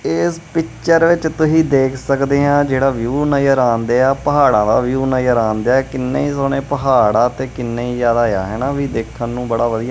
ਇਸ ਪਿੱਚਰ ਵਿੱਚ ਤੁਸੀਂ ਦੇਖ ਸਕਦੇ ਆ ਜਿਹੜਾ ਵਿਊ ਨਜ਼ਰ ਆਣਡਿਆ ਪਹਾੜਾਂ ਦਾ ਵਿਊ ਨਜ਼ਰ ਆਣ ਡਿਆ ਕਿੰਨੇ ਹੀ ਸੋਹਣੇ ਪਹਾੜ ਆ ਤੇ ਕਿੰਨੇ ਹੀ ਜਿਆਦਾ ਆ ਹੈਨਾ ਵੀ ਦੇਖਣ ਨੂੰ ਬੜਾ ਵਧੀਆ--